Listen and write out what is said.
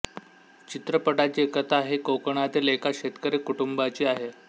चित्रपटाची कथा हि कोकणातील एका शेतकरी कुटुंबाची आहे